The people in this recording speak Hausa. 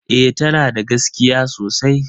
E, tana da gaskiya sosai